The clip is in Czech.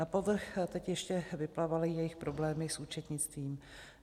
Na povrch teď ještě vyplavaly jejich problémy s účetnictvím.